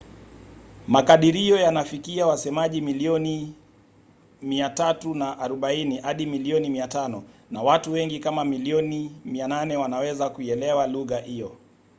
makadirio yanafikia wasemaji milioni 340 hadi milioni 500 na watu wengi kama milioni 800 wanaweza kuielewa lugha hiyo